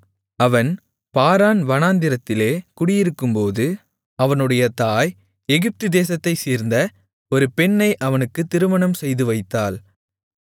அவன் பாரான் வனாந்திரத்திலே குடியிருக்கும்போது அவனுடைய தாய் எகிப்து தேசத்தைச் சேர்ந்த ஒரு பெண்ணை அவனுக்குத் திருமணம் செய்துவைத்தாள்